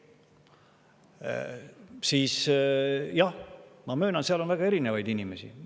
Jah, ma möönan, et on väga erinevaid inimesi.